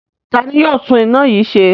Ta ni yóò tún iná yìí ṣe?